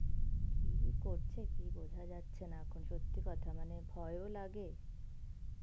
কি করছে কি বোঝা যাচ্ছে না এখন সত্যি কথা মানে ভয় ও লাগে,